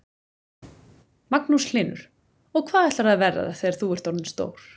Magnús Hlynur: Og hvað ætlarðu að verða þegar þú ert orðin stór?